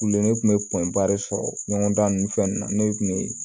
Kule ne tun bɛ de sɔrɔ ɲɔgɔn da nun fɛn ninnu na ne kun bɛ